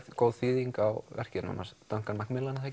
góð þýðing á verkinu hans Duncan Macmillan